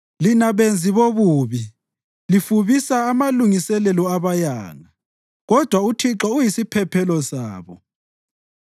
Lina benzi bobubi lifubisa amalungiselelo abayanga, kodwa uThixo uyisiphephelo sabo.